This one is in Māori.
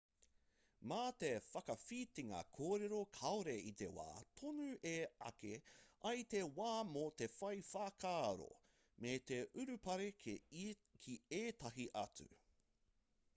mā te whakawhitinga kōrero kāore i te wā tonu e āki ai te wā mō te whai whakaaro me te urupare ki ētahi atu